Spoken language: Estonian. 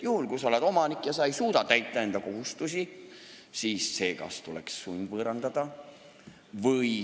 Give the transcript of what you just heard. Kui sa oled omanik ja sa ei suuda täita enda kohustusi, siis su omand tuleks sundvõõrandada.